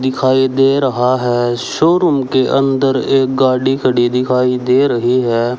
दिखाई दे रहा है शोरूम के अंदर एक गाड़ी खड़ी दिखाई दे रही है।